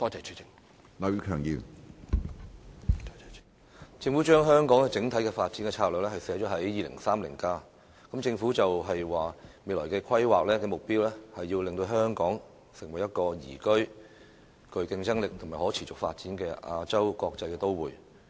政府將香港整體發展策略寫入《香港 2030+》，政府表示未來的規劃目標，是令香港成為一個宜居、具競爭力和可持續發展的亞洲國際都會。